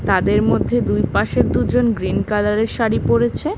তাদের মধ্যে দুইপাশের দুজন গ্রীন কালার -এর শাড়ি পড়েছে।